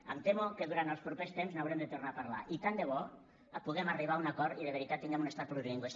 em temo que durant els propers temps n’haurem de tornar a parlar i tant de bo puguem arribar a un acord i de veritat tinguem un estat plurilingüe